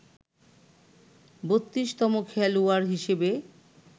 ৩২তম খেলোয়াড় হিসেবে